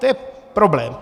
To je problém.